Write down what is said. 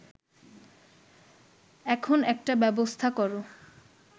এখন একটা ব্যবস্থা কর